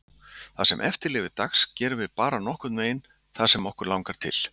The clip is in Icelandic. Það sem eftir lifir dags gerum við bara nokkurn veginn það sem okkur langar til.